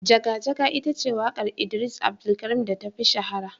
Jaga Jaga ita ce wakar idris Abdulkarim da ta fi shahara.